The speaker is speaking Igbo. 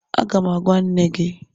Aga m agwa nne gị